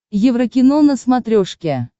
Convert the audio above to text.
еврокино на смотрешке